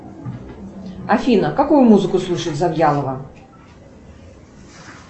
афина какую музыку слушает завьялова